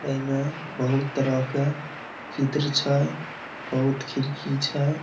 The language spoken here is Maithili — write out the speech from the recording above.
ए में बहुत तरह के चित्र छै बहुत खिड़की छै।